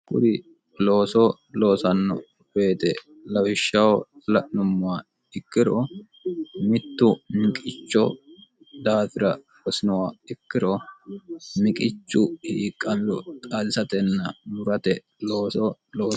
kuri loosoo loosanno weete lawishshaho la'nummowa ikkiro mittu niqicho daafira hosinowa ikkiro miqichu hiiqamiro xalisatenna murate loosoo loosawo